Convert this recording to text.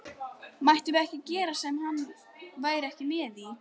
Mættum við ekkert gera sem hann væri ekki með í?